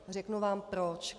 Řeknu vám proč.